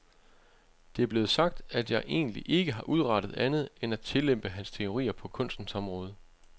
Det er blevet sagt, at jeg egentlig ikke har udrettet andet end at tillempe hans teorier på kunstens område.